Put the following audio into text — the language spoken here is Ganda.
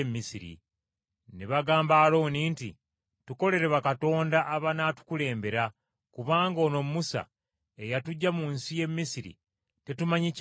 Ne bagamba Alooni nti, ‘Tukolere bakatonda abanaatukulembera, kubanga ono Musa eyatuggya mu nsi y’e Misiri tetumanyi kyabadde.’